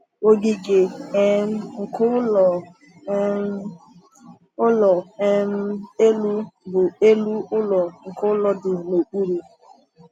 Ogige um nke ụlọ um ụlọ um elu bụ elu ụlọ nke ụlọ dị n’okpuru.